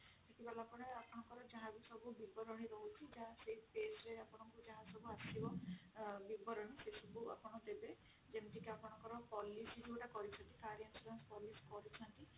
ସେଠି ଗଲା ପରେ ଆପଣଙ୍କର ଯାହା ବି ସବୁ ବିବରଣୀ ରହୁଛି ଯାହା ସେଇ page ରେ ଯାହା ସବୁ ଆସିବ ବିବରଣୀ ସେ ସବୁ ଆପଣ ଦେବେ ସେମିତି ଆପଣଙ୍କ policy ଯୋଉଟା କରିଛନ୍ତି car insurance ଯୋଉ କରିଛନ୍ତି